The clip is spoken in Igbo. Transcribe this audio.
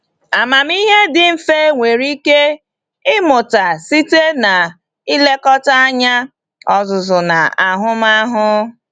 Amamihe dị mfe nwere ike ịmụta site n’ilekọta anya, ọzụzụ, na ahụmahụ.